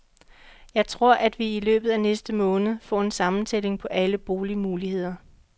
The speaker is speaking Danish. Jeg tror, at vi i løbet af næste måned får en sammentælling på alle boligmuligheder.